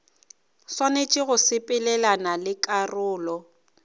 swanetše go sepelelana le karolo